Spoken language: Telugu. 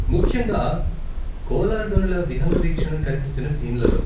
ముఖ్యంగా కోలార్ గనుల విహంగ వీక్షణం కనిపించిన సీన్లలో.